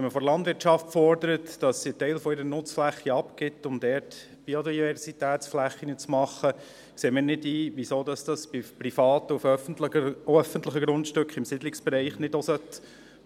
Wenn man von der Landwirtschaft fordert, dass sie einen Teil ihrer Nutzfläche abgibt, um dort Biodiversitätsflächen zu machen, sehen wir nicht ein, wieso das bei Privaten und auf öffentlichen Grundstücken im Siedlungsbereich nicht auch